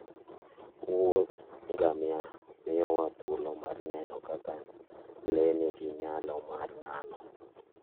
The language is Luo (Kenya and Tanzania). Wuodh ngamia miyowa thuolo mar neno kaka le nigi nyalo mar nano.